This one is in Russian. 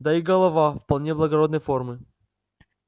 да и голова вполне благородной формы